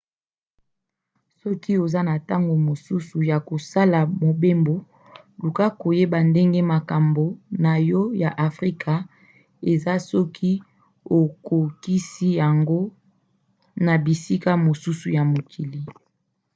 soki oza na ntango mosusu ya kosala mobembo luka koyeba ndenge makambo na yo ya afrika eza soki okokisi yango na bisika mosusu ya mokili